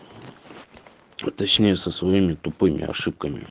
точнее со своими тупыми ошибками